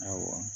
Awɔ